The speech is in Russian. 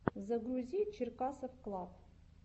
загрузи черкасовклаб